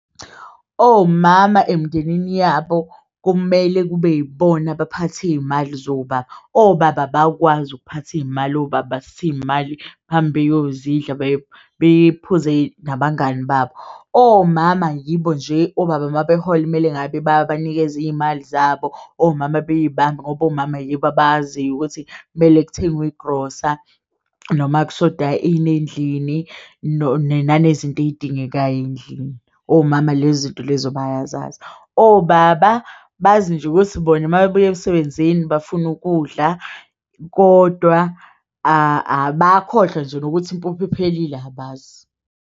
Omama emndenini yabo kumele kube yibona abaphathi iyimali zobaba obaba abakwazi ukuphatha iyimali obaba hambe beyozidla beyiphuze nabangani babo. Omama yibo nje obaba mabehola kumele ngabe bayabanikeza iyimali zabo omama beyibambe ngoba omama yibo, abayaziyo ukuthi kumele kuthengwe igrosa noma kushoda ini endlini nenani zinto eyidingekayo eyindlini, omama lezi zinto lezo bayazazi obaba, bazi nje ukuthi bona uma bebuya emsebenzini bafuna ukudla kodwa abakhohlwa nje nokuthi impuphu iphelile abazi.